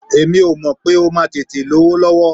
Èmi ò mọ̀ pé ó máa tètè lówó lọ́wọ́.